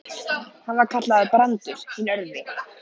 Hann var kallaður Brandur hinn örvi.